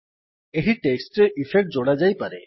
ଏହି ଟେକ୍ସଟ୍ ରେ ଇଫେକ୍ଟ ଯୋଡ଼ାଯାଇପାରେ